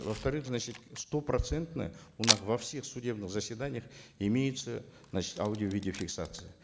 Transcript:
во вторых значит стопроцентно у нас во всех судебных заседаниях имеется значит аудио видеофиксация